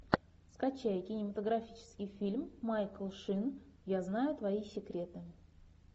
скачай кинематографический фильм майкл шин я знаю твои секреты